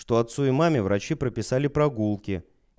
что отцу и маме врачи прописали прогулки